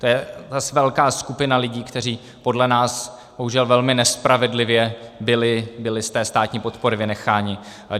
To je zase velká skupina lidí, kteří podle nás bohužel velmi nespravedlivě byli z té státní podpory vynecháni.